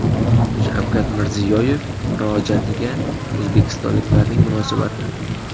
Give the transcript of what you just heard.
Shavkat Mirziyoyev murojaatiga o‘zbekistonliklarning munosabati.